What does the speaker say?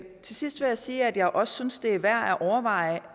til sidst vil jeg sige at jeg også synes det er værd at overveje